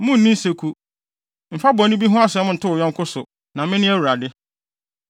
“ ‘Munnni nseku. “ ‘Mfa bɔne bi ho asɛm nto wo yɔnko so, na mene Awurade.